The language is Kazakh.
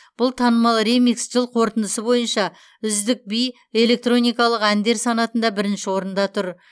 бұл танымал ремикс жыл қорытындысы бойынша үздік би электроникалық әндер санатында бірінші орында тұр